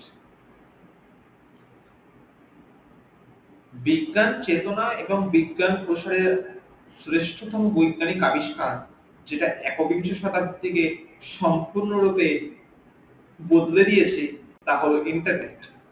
বিজ্ঞান চেতনা এবং বিজ্ঞান প্রসারে শ্রেষ্ঠতম বৈজ্ঞানিক আবিস্কার যেটা একবিংশ সতাব্দি থেকে সম্পূর্ণরূপে বদলে দিয়েছে তা হল internet